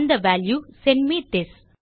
அந்த value sent may this